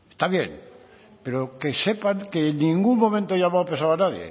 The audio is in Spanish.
está bien pero que en ningún momento he llamado pesado a